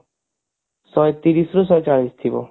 ଶହେ ତିରିଶି ରୁ ଶହେ ଚାଳିଶି ଥିବ